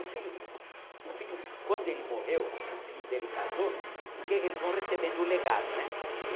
O filho o filho, quando ele morreu e o filho dele casou, porque eles vão recebendo o legado, né?